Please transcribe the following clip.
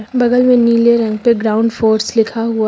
बगल में नीले रंग पे ग्राउंड फोर्स लिखा हुआ--